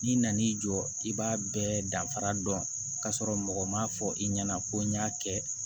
N'i nan'i jɔ i b'a bɛɛ danfara dɔn k'a sɔrɔ mɔgɔ ma fɔ i ɲɛna ko n y'a kɛ